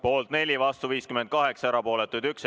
Poolt oli 4, vastu 58 ja erapooletuid 1.